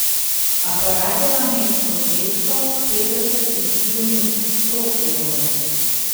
Aparat je namesto dvesto petdeset, izpljunil sto evrov.